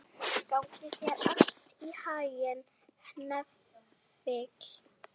Gangi þér allt í haginn, Hnefill.